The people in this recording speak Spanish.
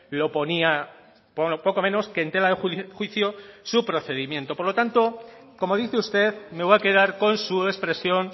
lo ponía poco menos que en tela de juicio su procedimiento por lo tanto como dice usted me voy a quedar con su expresión